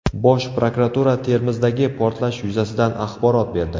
Bosh prokuratura Termizdagi portlash yuzasidan axborot berdi.